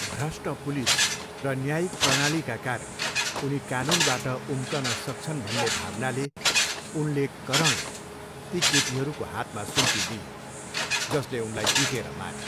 भ्रष्ट पुलिस र न्यायिक प्रणालीका कारण उनी कानुनबाट उम्कन सक्छन् भन्ने भावनाले उनले करणलाई ती केटीहरूको हातमा सुम्पिदिइन्, जसले उनलाई पिटेर मारे।